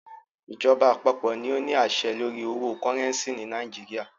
Ìjọba àpapọ̀ ní o ní àṣẹ lórí owo cúrẹ́ncì ni Nàìjíríà.